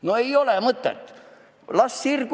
No ei ole mõtet!